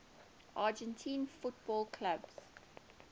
argentine football clubs